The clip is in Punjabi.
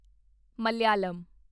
ਮਲਾਇਲਮ